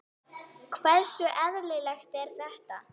Hversu eðlilegt er þetta?